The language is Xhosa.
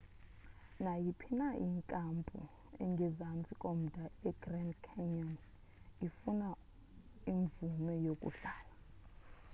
nayiphi na inkampu engezantsi komda egrand canyon ifuna imvume yokuhlala